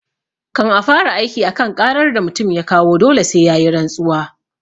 Kan a fara aiki a kan ƙarar da mutum ya kawo dole sai yayi rantsuwa